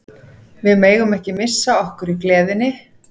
Við megum ekki missa okkur í gleðinni.